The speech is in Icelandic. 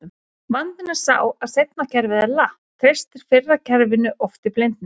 Vandinn er sá að seinna kerfið er latt, treystir fyrra kerfinu oft í blindni.